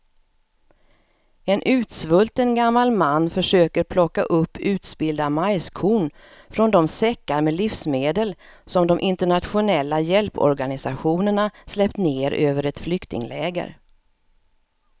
En utsvulten gammal man försöker plocka upp utspillda majskorn från de säckar med livsmedel som de internationella hjälporganisationerna släppt ner över ett flyktingläger.